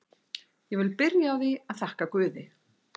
Ég vil byrja á því að þakka guði.